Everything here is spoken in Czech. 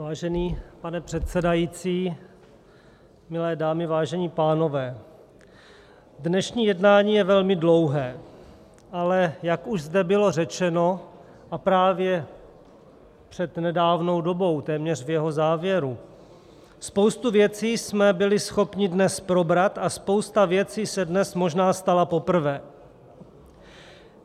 Vážený pane předsedající, milé dámy, vážení pánové, dnešní jednání je velmi dlouhé, ale jak už zde bylo řečeno, a právě před nedávnou dobou, téměř v jeho závěru, spoustu věcí jsme byli schopni dnes probrat a spousta věcí se dnes možná stala poprvé.